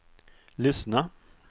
lyssna